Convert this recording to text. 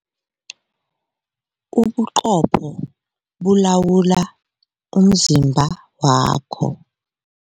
Ubuqopho bulawula umzimba wakho.